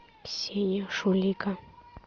ксения шулика